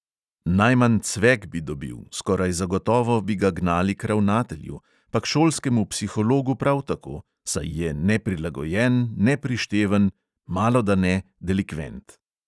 Najmanj cvek bi dobil, skoraj zagotovo bi ga gnali k ravnatelju, pa k šolskemu psihologu prav tako; saj je neprilagojen, neprišteven, malodane delikvent!